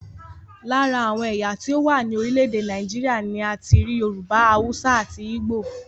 Lára àwọn ẹ̀yà tí ó wà ní orílẹ̀èdè Nàìjíríà ni a ti rí Yorùbá, Haúsá àti Ígbò